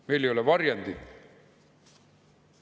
Meil ei ole varjendit.